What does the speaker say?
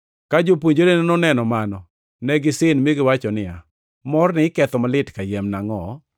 Ka jopuonjre noneno mano, ne gisin, mi giwacho niya, “Morni iketho malit kayiem nangʼo?